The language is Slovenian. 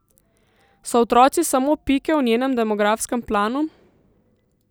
So otroci samo pike v njenem demografskem planu?